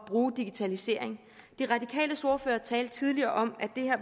bruge digitalisering de radikales ordfører talte tidligere om at det her